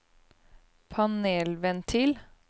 panelventil